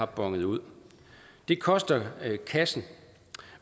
bonet ud det koster kassen